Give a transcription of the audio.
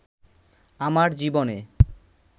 আমার জীবনে